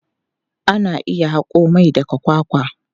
Ana iya haƙo mai daga kwakwa.